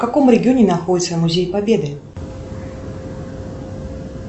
в каком регионе находится музей победы